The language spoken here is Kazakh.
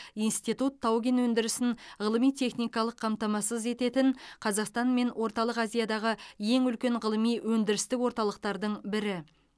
институт тау кен өндірісін ғылыми техникалық қамтамасыз ететін қазақстан мен орталық азиядағы ең үлкен ғылыми өндірістік орталықтардың бірі